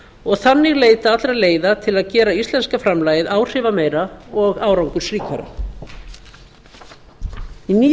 og þannig leita allra leiða til að gera íslenska framlagið áhrifameira og árangursríkara í nýju